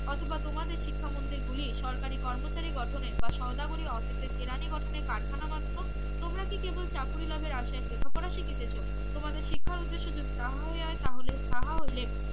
অথবা তোমাদের শিক্ষা মন্দির গুলি সরকারি কর্মচারী গঠনে বা সওদাগরি অফিসের কেরানি গঠনের কারখানা মাত্র তোমরা কি কেবল চাকুরী লাভের আশায় লেখা পড়া শিখিতেছো তোমাদের শিক্ষার উদ্দেশ্য যদি তাহা হয় তাহলে তাহা হইলে